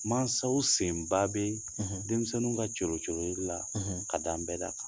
Mansaw senba bɛ denmisɛnninw ka coolo-coololi la ka taa nbɛda kan